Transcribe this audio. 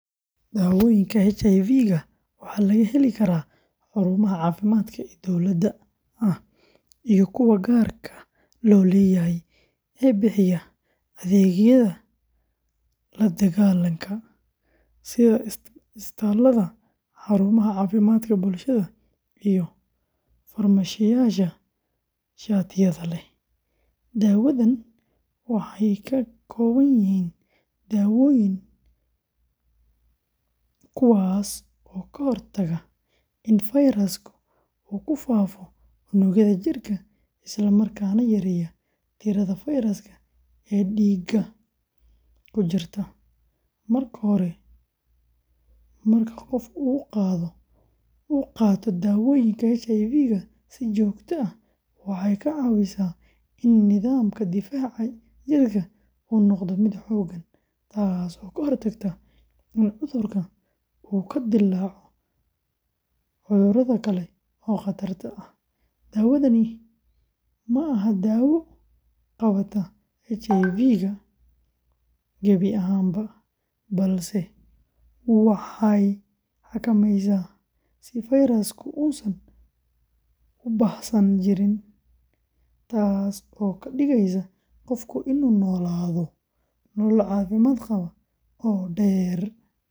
Dawooyinka HIV-ga waxaa laga heli karaa xarumaha caafimaadka ee dowliga ah iyo kuwa gaarka loo leeyahay ee bixiya adeegyada la dagaallanka, sida isbitaallada, xarumaha caafimaadka bulshada, iyo farmashiyeyaasha shatiyada leh. Dawadan waxay ka kooban yihiin daawooyin, kuwaas oo ka hortaga in fayraska uu ku faafo unugyada jirka isla markaana yareeya tirada fayraska ee dhiigga ku jirta. Marka qofka uu qaato daawooyinka HIV-ga si joogto ah, waxay caawisaa in nidaamka difaaca jirka uu noqdo mid xooggan, taasoo ka hortagta in cudurka uu ka dillaaco cuduro kale oo khatarta ah. Dawadani ma daawo qabata HIV-ga gebi ahaanba, balse waxay xakameysaa si fayrasku uusan u baahsan jirin, taas oo ka dhigeysa qofka inuu noolaado nolol caafimaad qabta oo dheer.